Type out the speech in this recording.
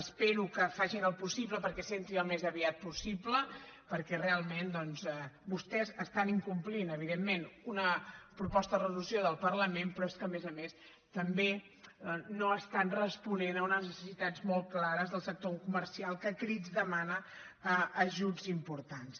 espero que facin el possible perquè s’entri al més aviat possible perquè realment doncs vostès estan incomplint evidentment una proposta de resolució del parlament però és que a més a més també no estan responent a unes necessitats molt clares del sector comercial que a crits demana ajuts importants